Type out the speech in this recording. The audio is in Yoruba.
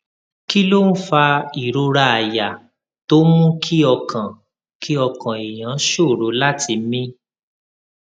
kí ló ń fa ìrora àyà tó ń mú kí ọkàn kí ọkàn èèyàn ṣòro láti mí